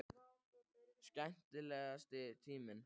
Skemmtilegasti tíminn?